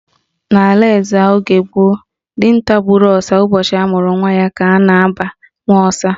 N'ala Ezza oge gboo, dinta gburu ọsa ụbọchị amụrụ nwa ya ka a na-aba Nwaọsa.